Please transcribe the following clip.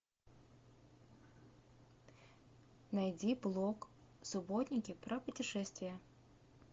найди блок субботники про путешествия